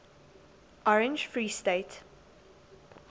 orange free state